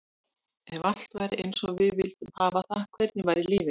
Ef allt væri eins og við vildum hafa það, hvernig væri lífið?